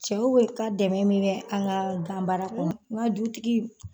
Cɛw bɛ ka dɛmɛ min bɛ an ka ganbaara kɔnɔ n ka dutigi